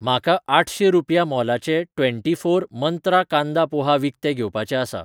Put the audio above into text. म्हाका आठशें रुपया मोलाचें ट्वेंटीफोर मंत्रा कांदा पोहा विकतें घेवपाचें आसा